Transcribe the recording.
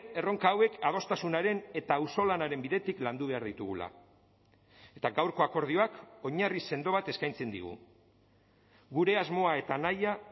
erronka hauek adostasunaren eta auzolanaren bidetik landu behar ditugula eta gaurko akordioak oinarri sendo bat eskaintzen digu gure asmoa eta nahia